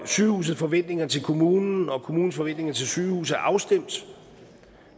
sygehusets forventninger til kommunen og kommunens forventninger til sygehuset er afstemt